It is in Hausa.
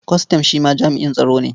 Kwastam shi ma jami'in tsaro ne.